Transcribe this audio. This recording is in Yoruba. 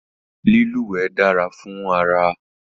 Lílúwẹ̀ dára fún ara